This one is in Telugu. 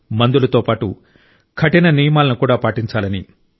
మందులతో పాటు కఠిన నియమాలను కూడా పాటించాలని